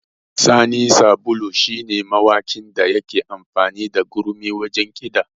Sani Sabulu shi ne mawakin da yake amfani da gurmi wajen kiɗa